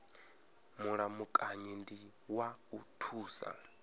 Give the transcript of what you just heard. mulamukanyi ndi wa u thusa